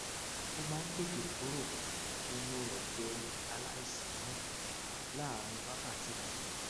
ó máa ń tètè kúrò nínú ẹjẹ aláìsàn náà láàárín wákàtí kan